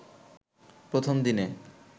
প্রথম দিনে